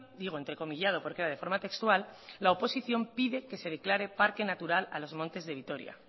digo entrecomillado porque era de forma textual pide que se declare parque natural a los montes de vitoria